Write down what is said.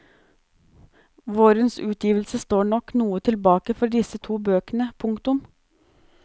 Vårens utgivelse står nok noe tilbake for disse to bøkene. punktum